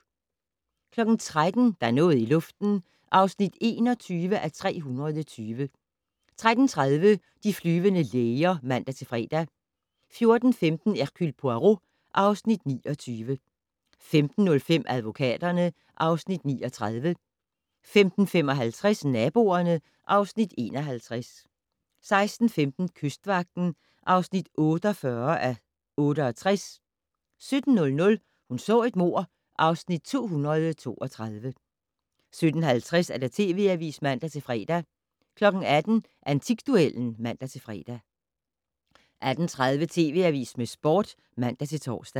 13:00: Der er noget i luften (21:320) 13:30: De flyvende læger (man-fre) 14:15: Hercule Poirot (Afs. 29) 15:05: Advokaterne (Afs. 39) 15:55: Naboerne (Afs. 51) 16:15: Kystvagten (48:68) 17:00: Hun så et mord (Afs. 232) 17:50: TV Avisen (man-fre) 18:00: Antikduellen (man-fre) 18:30: TV Avisen med Sporten (man-tor)